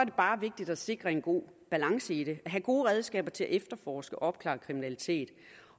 bare vigtigt at sikre en god balance i det at have gode redskaber til at efterforske og opklare kriminalitet